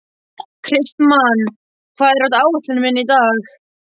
Kristmann, hvað er á áætluninni minni í dag?